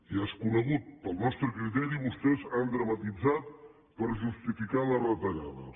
ja és conegut per al nostre criteri vostès han dramatitzat per justificar les retallades